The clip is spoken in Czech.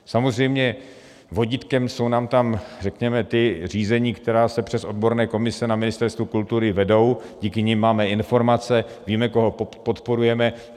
Samozřejmě vodítkem jsou nám tam, řekněme, ta řízení, která se přes odborné komise na Ministerstvu kultury vedou, díky nim máme informace, víme, koho podporujeme.